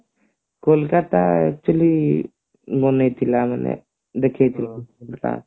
Kolkata actually ବନେଇଥିଲା ମାନେ ଦେଖେଇ ଥିଲା